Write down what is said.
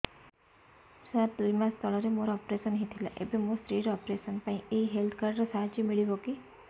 ସାର ଦୁଇ ମାସ ତଳରେ ମୋର ଅପେରସନ ହୈ ଥିଲା ଏବେ ମୋ ସ୍ତ୍ରୀ ର ଅପେରସନ ପାଇଁ ଏହି ହେଲ୍ଥ କାର୍ଡ ର ସାହାଯ୍ୟ ମିଳିବ କି